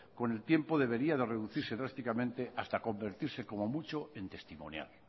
con el tiempo debería de reducirse drásticamente hasta convertirse como mucho en testimonial